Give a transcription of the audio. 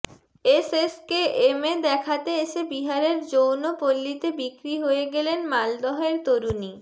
এসএসকেএমে দেখাতে এসে বিহারের যৌনপল্লিতে বিক্রি হয়ে গেলেন মালদহের তরুণী